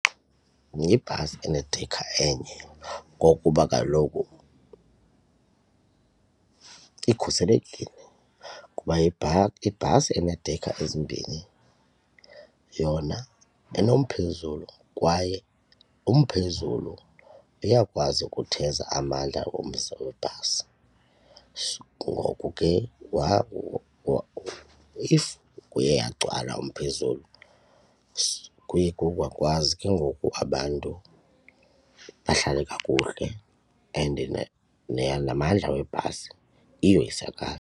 Yibhasi enedekha enye ngokuba kaloku ikhuselekile kuba ibhasi eneedekha ezimbini yona inomphezulu kwaye umphezulu uyakwazi ukutheza amandla omzimba webhasi. Ngoku ke if kuyagcwala umphezulu kuye kuyakwazi ke ngoku abantu bahlale kakuhle and namandla webhasi uyoyisakala.